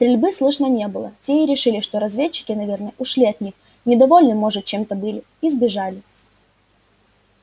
стрельбы слышно не было те и решили что разведчики наверное ушли от них недовольны может чем-то были и сбежали